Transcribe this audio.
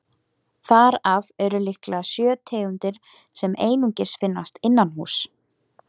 Þar af eru líklega sjö tegundir sem einungis finnast innanhúss.